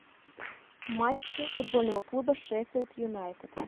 матчи футбольного клуба шеффилд юнайтед